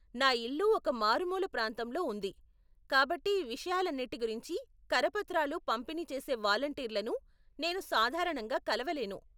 నా ఇల్లు ఒక మారుమూల ప్రాంతంలో ఉంది, కాబట్టి ఈ విషయాలన్నిటి గురించి కరపత్రాలు పంపిణీ చేసే వాలంటీర్లను నేను సాధారణంగా కలవలేను.